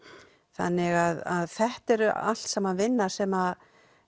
þannig að þetta er allt saman vinna sem